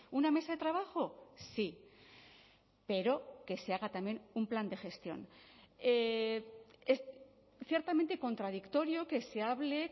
una mesa de trabajo sí pero que se haga también un plan de gestión es ciertamente contradictorio que se hable